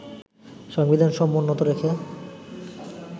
সংবিধান সমুন্নত রেখে